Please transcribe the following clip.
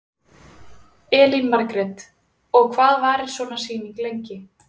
Elín Margrét: Og hvað varir svona sýning lengi?